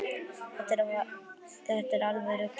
Þetta er alveg ruglað.